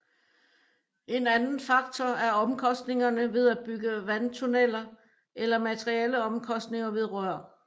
En anden faktor er omkostningerne ved at bygge vandtunneler eller materialeomkostninger ved rør